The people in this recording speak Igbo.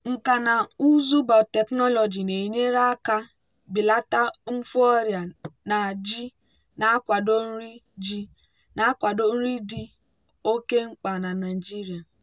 nkà na ụzụ biotechnology na-enyere aka belata mfu ọrịa na ji na-akwado nri ji na-akwado nri dị oke mkpa na nigeria.